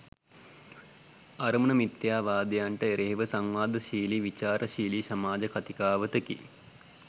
අරමුණ මිථ්‍යාවාදයන්ට එරෙහිව සංවාදශීලි, විචාරශීලි සමාජ කථිකාවතකි